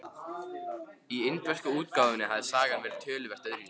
Í indversku útgáfunni hafði sagan verið töluvert öðruvísi.